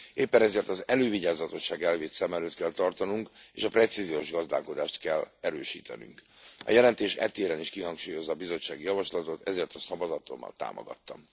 Éppen ezért az elővigyázatosság elvét szem előtt kell tartanunk, és a precíziós gazdálkodást kell erősítenünk. A jelentés e téren is kihangsúlyozza a bizottsági javaslatot, ezért a szavazatommal támogattam.